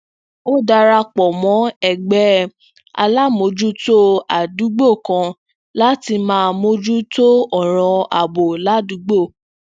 ó dara pò mó ẹgbé alámòójútó àdúgbò kan láti máa mójú tó ọràn ààbò ládùúgbò